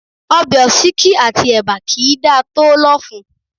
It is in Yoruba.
Ọbẹ̀ òsíkí àti ẹ̀bà kì í dá tòó lọ́fun